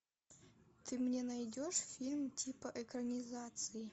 ты мне найдешь фильм типа экранизации